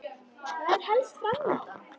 Hvað er helst fram undan?